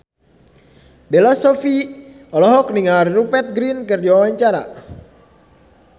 Bella Shofie olohok ningali Rupert Grin keur diwawancara